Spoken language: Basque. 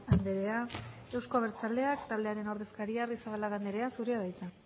andrea euzko abertzaleak taldearen ordezkaria arrizabalaga anderea zurea da hitza